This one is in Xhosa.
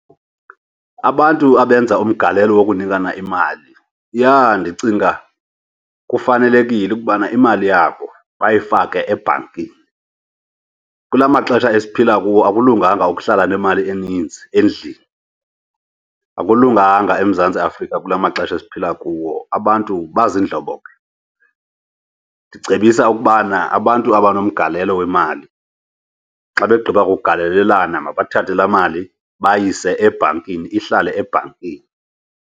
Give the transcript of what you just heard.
Abantu abenza umgalelo wokunikana imali, yha, ndicinga kufanelekile ukubana imali yabo bayifake ebhankini. Kula maxesha esiphila kuwo akulunganga ukuhlala nemali eninzi endlini, akulunganga eMzantsi Afrika kula maxesha esiphila kuwo, abantu baziindlobongela. Ndicebisa ukubana abantu abanomgalelo wemali, xa begqiba kugalelelana mabathathe laa mali bayise ebhankini, ihlale ebhankini.